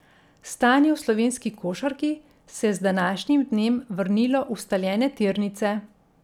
Stanje v slovenski košarki se je z današnjim dnem vrnilo v ustaljene tirnice.